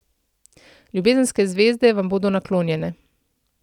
Ljubezenske zvezde vam bodo naklonjene.